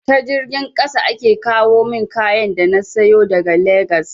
Ta jirgin ƙasa ake kawomin kayan da na sayo daga legas